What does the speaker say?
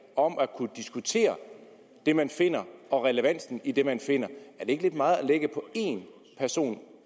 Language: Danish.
om at kunne diskutere det man finder og relevansen af det man finder er det ikke lidt meget at lægge på én person